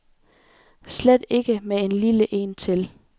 Slet ikke med en lille en til.